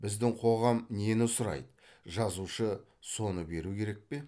біздің қоғам нені сұрайды жазушы соны беру керек пе